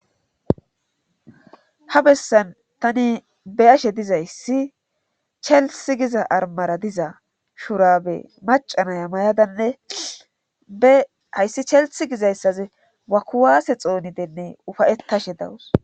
Ha bessan tani be'ashe dizayssi chelssi giza armara diza shurabe maca naya mayadanne be hayssi chelssi gizayssaze ba kuwaase xoonin ufayetashe dawus